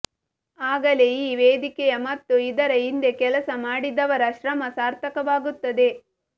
ಆಗಲೇ ಈ ವೇದಿಕೆಯ ಮತ್ತು ಇದರ ಹಿಂದೆ ಕೆಲಸ ಮಾಡಿದವರ ಶ್ರಮ ಸಾರ್ಥಕವಾಗುತ್ತದೆ